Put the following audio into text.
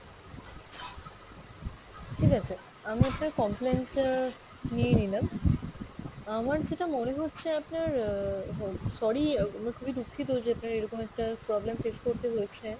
ঠিক আছে আমি আপনার complain টা নিয়ে নিলাম। আমার যেটা মনে হচ্ছে আপনার আহ sorry আমরা খুবই দুঃখিত যে আপনার এরকম একটা problem face করতে হয়েছে,